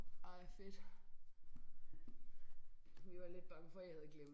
Ej fedt vi var lidt bange for I havde glem